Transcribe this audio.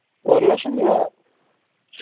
ഒരു ലക്ഷം രൂപ